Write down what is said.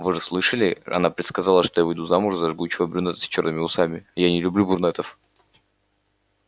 вы же слышали она предсказала что я выйду замуж за жгучего брюнета с чёрными усами а я не люблю брюнетов